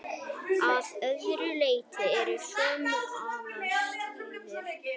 Að öðru leyti eru sömu aðstæður.